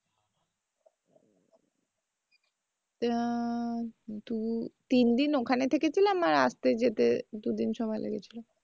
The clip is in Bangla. ওটা দু-তিন দিন ওখানে থেকেছিলাম আর রাত্রে যেতে দুদিন সময় লেগেছিলো